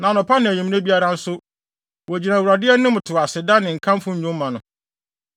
Na anɔpa ne anwummere biara nso, wogyina Awurade anim to aseda ne nkamfo nnwom ma no.